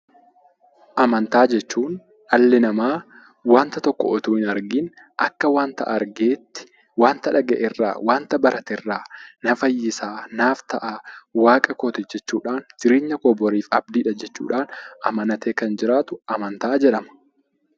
Amantaa jechuun dhalli namaa wanta tokko otoo hin argiin akka nama argeetti waan dhagahe irraa, waan barate irraa na fayyisa, naaf ta'a, waaqa kooti boriif abdii kooti jechuudhaan amanatee kan jiraatu amantaa jedhama.